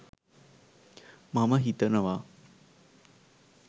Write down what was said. මම හිතනවා.